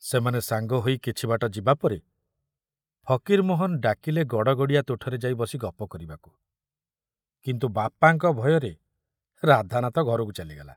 ସେମାନେ ସାଙ୍ଗ ହୋଇ କିଛି ବାଟ ଯିବାପରେ ଫକୀରମୋହନ ଡାକିଲେ ଗଡ଼ଗଡ଼ିଆ ତୁଠରେ ଯାଇ ବସି ଗପ କରିବାକୁ, କିନ୍ତୁ ବାପାଙ୍କ ଭୟରେ ରାଧାନାଥ ଘରକୁ ଚାଲିଗଲା।